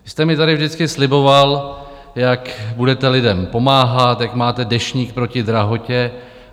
Vy jste mi tady vždycky sliboval, jak budete lidem pomáhat, jak máte Deštník proti drahotě.